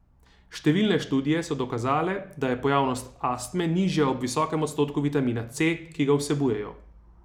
Številne študije so dokazale, da je pojavnost astme nižja ob visokem odstotku vitamina C, ki ga vsebujejo.